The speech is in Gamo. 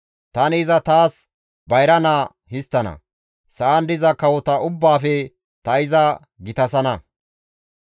Tani iza taas bayra naa histtana; sa7an diza kawota ubbaafe ta iza gitasana.